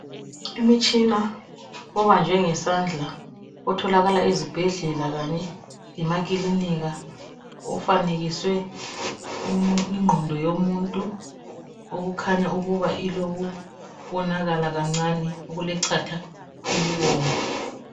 Umtshina ubanjwe ngesandla otholakala ezibhedlela kanye lemakilinika, ufanekiswe ingqondo yomuntu okukhanya ukuba ilokubonakala kancane okulechatha elibomvu.